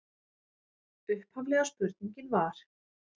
Upphaflega spurningin var: